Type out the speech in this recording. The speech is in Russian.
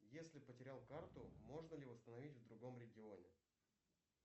если потерял карту можно ли восстановить в другом регионе